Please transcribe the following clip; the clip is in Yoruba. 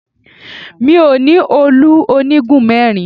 Mi ò ní òòlù onígun mẹ́rin